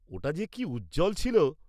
ওটা যে কি উজ্জ্বল ছিল।